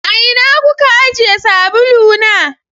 A ina kuka ajiye sabulu na?